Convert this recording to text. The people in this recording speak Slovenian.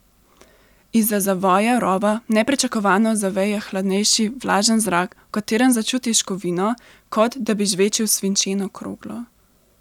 Izza zavoja rova nepričakovano zaveje hladnejši, vlažen zrak, v katerem začutiš kovino, kot da bi žvečil svinčeno kroglo.